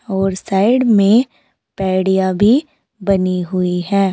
और साइड में पैडिया भी बनी हुई है।